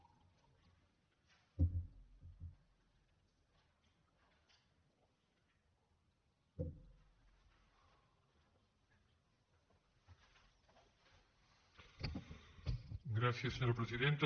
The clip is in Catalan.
gràcies senyora presidenta